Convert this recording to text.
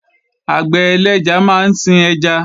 Àgbẹ̀ ẹlẹ́ja máa ń sin ẹja